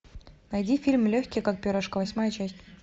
найди фильм легкий как перышко восьмая часть